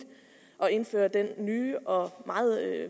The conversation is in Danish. at indføre den nye og meget